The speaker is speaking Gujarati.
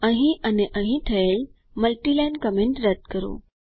અહીં અને અહીં થઈ મલ્ટીલાઈન કમેન્ટ રદ કરો